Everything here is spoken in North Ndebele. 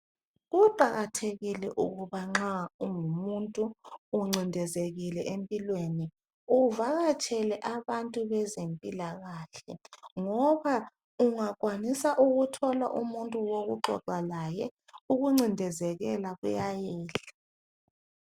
Kuqakathekile ukuba nxa ungumuntu uncindezekile empilweni uvakatshele abantu bezempilakahle ngoba ungakwanisa ukuthola umuntu wokuxoxa laye ukuncidezeleka kuyayehla.